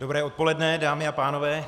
Dobré odpoledne, dámy a pánové.